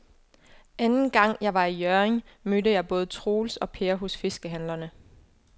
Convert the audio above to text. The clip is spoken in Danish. Anden gang jeg var i Hjørring, mødte jeg både Troels og Per hos fiskehandlerne.